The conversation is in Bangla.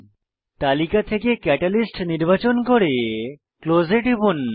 তালিকা থেকে ক্যাটালিস্ট নির্বাচন করে ক্লোজ এ টিপুন